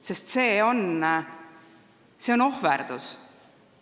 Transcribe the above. Sest see on ohverdus.